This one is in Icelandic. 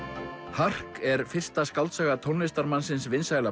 hark er fyrsta skáldsaga tónlistarmannsins vinsæla